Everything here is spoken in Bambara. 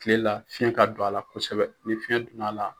Kile la fiyɛn ka don a la kosɛbɛ ni fiyɛn donna a la